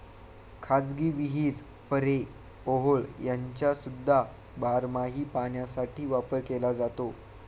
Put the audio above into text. खाजगी विहीर, पऱ्हे, ओहोळ ह्यांचासुद्धा बारमाही पाण्यासाठी वापर केला जातो.